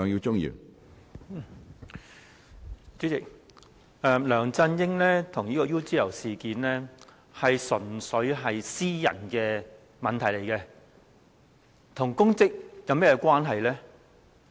主席，梁振英和 UGL 事件純粹是私人問題，與其公職有何關係呢？